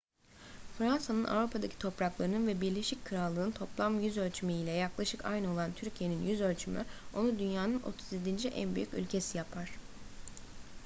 fransa'nın avrupa'daki topraklarının ve birleşik krallık'ın toplam yüzölçümü ile yaklaşık aynı olan türkiye'nin yüzölçümü onu dünyanın 37. en büyük ülkesi yapar